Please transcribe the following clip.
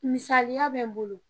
Misaliya bɛ n bolo.